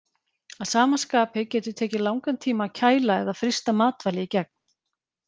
Að sama skapi getur tekið langan tíma að kæla eða frysta matvæli í gegn.